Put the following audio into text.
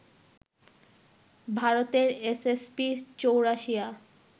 ভারতের এস.এস.পি. চৌরাশিয়া